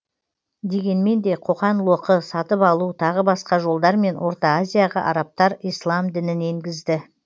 дегенмен де қоқан лоқы сатып алу тағы басқа жолдармен орта азияға арабтар ислам дінін енгізді